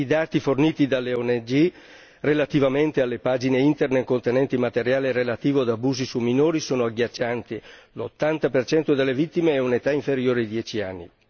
I dati forniti dalle ONG relativamente alle pagine Internet contenenti materiale relativo ad abusi su minori sono agghiaccianti l'80 delle vittime ha un'età inferiore ai 10 anni.